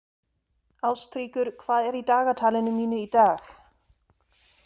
Ástríkur, hvað er í dagatalinu mínu í dag?